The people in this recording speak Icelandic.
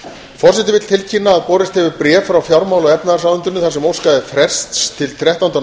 forseti vill tilkynna að borist hefur bréf frá fjármála og efnahagsráðuneytinu þar sem óskað er frests til þrettánda